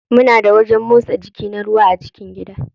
Muna da wajen motsa jiki na ruwa a cikin gida.